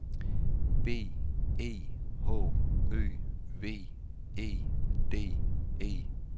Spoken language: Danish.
B E H Ø V E D E